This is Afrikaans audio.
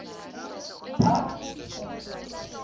i geag teruggetrek